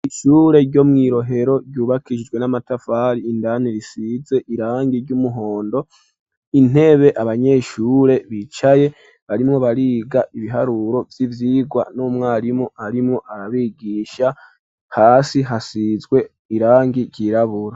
ishure ryo mwirohero ryubakishijwe n'amatavari indane risize irangi ry'umuhondo, intebe abanyeshure bicaye barimo bariga ibiharuro vy'ivyigwa n’umwarimu arimu arabigisha, hasi hasizwe irangi ryirabura.